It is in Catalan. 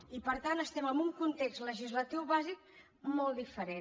i per tant estem en un context legislatiu bàsic molt diferent